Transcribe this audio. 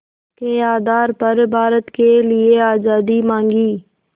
के आधार पर भारत के लिए आज़ादी मांगी